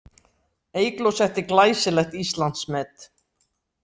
Eygló setti glæsilegt Íslandsmet